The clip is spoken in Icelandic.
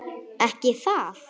Ekki það.?